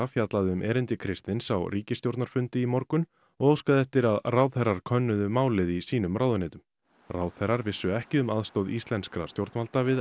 fjallaði um erindi Kristins á ríkisstjórnarfundi í morgun og óskaði eftir að ráðherrar könnuðu málið í sínum ráðuneytum ráðherrar vissu ekki um aðstoð íslenskra stjórnvalda við